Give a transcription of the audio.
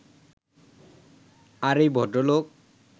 আর এই ভদ্রলোক